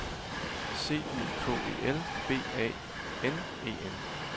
C Y K E L B A N E N